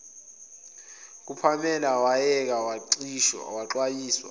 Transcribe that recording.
kukapamela wayeke waxwayisa